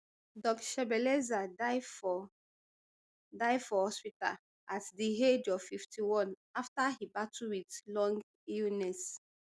doc shebeleza die for die for hospital at di age of fifty-one afta e battle wit long illness